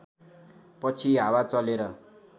पछि हावा चलेर